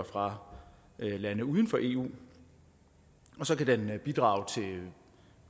fra lande uden for eu og så kan det bidrage til